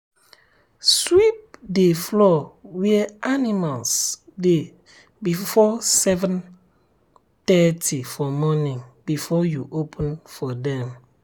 sweep the floor where animals dey before seven thirty for morning before you open for them.